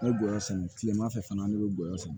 Ne gɔyɔ sɛnɛ kileman fɛ fana ne be n golo sɛnɛ